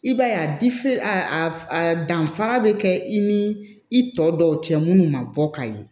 I b'a ye a danfara be kɛ i ni i tɔ dɔw cɛ munnu ma bɔ ka ye